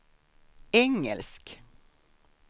engelsk